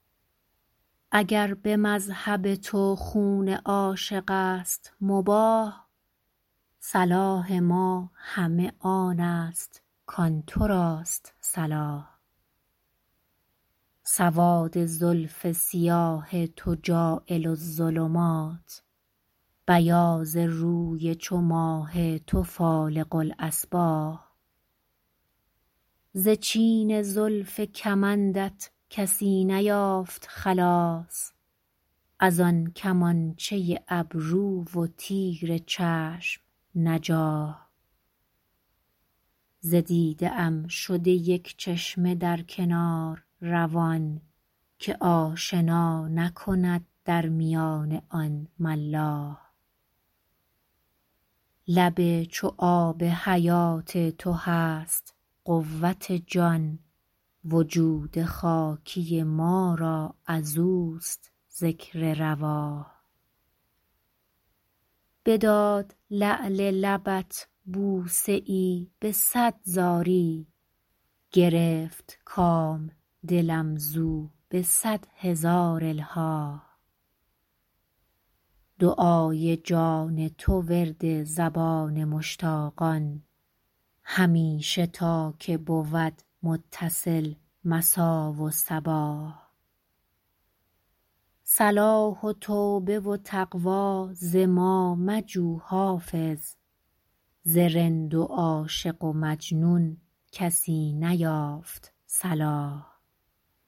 اگر به مذهب تو خون عاشق است مباح صلاح ما همه آن است کآن تو راست صلاح سواد زلف سیاه تو جاعل الظلمات بیاض روی چو ماه تو فالق الأصباح ز چین زلف کمندت کسی نیافت خلاص از آن کمانچه ابرو و تیر چشم نجاح ز دیده ام شده یک چشمه در کنار روان که آشنا نکند در میان آن ملاح لب چو آب حیات تو هست قوت جان وجود خاکی ما را از اوست ذکر رواح بداد لعل لبت بوسه ای به صد زاری گرفت کام دلم زو به صد هزار الحاح دعای جان تو ورد زبان مشتاقان همیشه تا که بود متصل مسا و صباح صلاح و توبه و تقوی ز ما مجو حافظ ز رند و عاشق و مجنون کسی نیافت صلاح